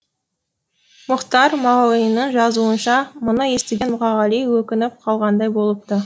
мұхтар мағауиннің жазуынша мұны естіген мұқағали өкініп қалғандай болыпты